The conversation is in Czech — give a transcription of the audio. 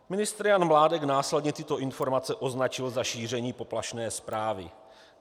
Ministr Jan Mládek následně tyto informace označil za šíření poplašné zprávy.